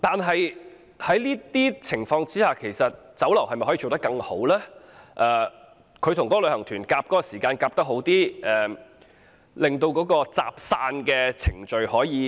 在這情況之下，酒樓與旅行團在用膳時間方面可否配合得好一點，加快集散程序呢？